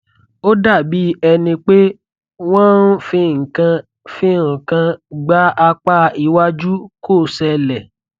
ó dàbí ẹni pé wọn fi nǹkan fi nǹkan gbá apá iwájú kò ṣẹlẹ